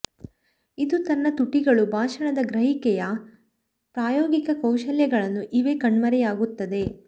ಇದು ತನ್ನ ತುಟಿಗಳು ಭಾಷಣದ ಗ್ರಹಿಕೆಯ ಪ್ರಾಯೋಗಿಕ ಕೌಶಲಗಳನ್ನು ಇವೆ ಕಣ್ಮರೆಯಾಗುತ್ತದೆ